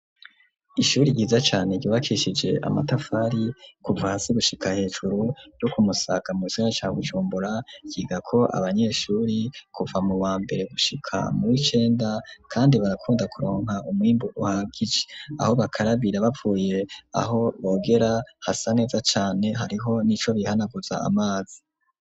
Ishuri ryiza cane ryubakishije amatafari kuva hasi gushika hejuru ryo kumusaga mugisagara ca Bujumbura, ryigako abanyeshuri kuva mu wa mbere gushika muw'icenda, kandi barakunda kuronka ummwimbu uhagije, aho bakarabira bapfuye aho bogera hasa neza cyane hariho n'ico bihanaguza amazi.